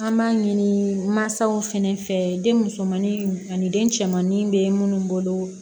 An b'a ɲini mansaw fɛnɛ fɛ den musomannin ani den cɛman bɛ minnu bolo